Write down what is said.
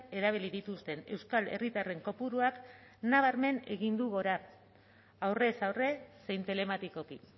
erabili dituzten euskal herritarren kopuruak nabarmen egin du gora aurrez aurre zein telematikoki